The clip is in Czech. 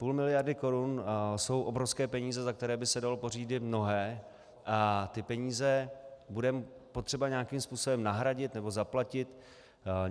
Půl miliardy korun jsou obrovské peníze, za které by se dalo pořídit mnohé, a ty peníze bude potřeba nějakým způsobem nahradit nebo zaplatit.